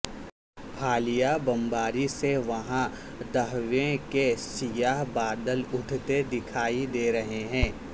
حالیہ بمباری سے وہاں دھویں کے سیاہ بادل اٹھتے دکھائی دے رہے ہیں